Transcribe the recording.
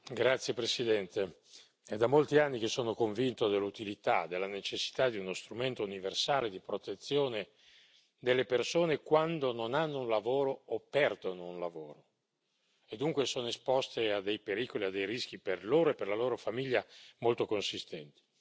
Signora Presidente, onorevoli colleghi, è da molti anni che sono convinto dell'utilità, della necessità di uno strumento universale di protezione delle persone quando non hanno un lavoro o perdono un lavoro e dunque sono esposte a dei pericoli, a dei rischi per loro e per la loro famiglia molto consistenti.